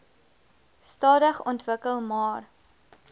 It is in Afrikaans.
stadig ontwikkel maar